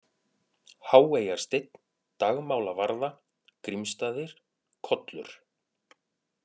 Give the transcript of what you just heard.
Háeyjarsteinn, Dagmálavarða, Grímsstaðir, Kollur